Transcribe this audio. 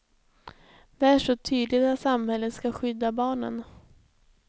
Där står tydligt att samhället ska skydda barnen.